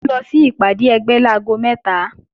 Mò ń lọ sí ìpàdé ẹgbẹ́ láago mẹ́ta